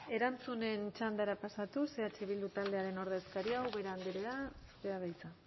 erantzunen txandara pasatuz eh bildu taldearen ordezkaria ubera andrea zurea da hitza